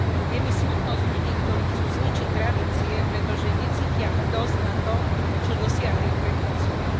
Je mi smutno z ľudí, ktorí chcú ničiť tradície, pretože necítia hrdosť na to, čo dosiahli ich predchodcovia.